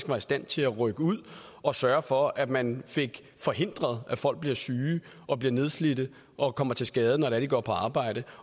var i stand til at rykke ud og sørge for at man fik forhindret at folk bliver syge og bliver nedslidt og kommer til skade når de går på arbejde